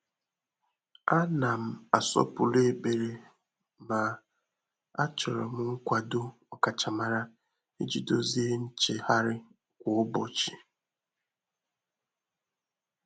Ànà m àsọ́pụ́rụ́ ékpèré mà àchọ́rọ m nkwàdò ọkàchàmárá ìjí dòzìé nchéghárị́ kwá ụ́bọ̀chị̀.